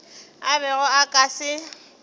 a bego a ka se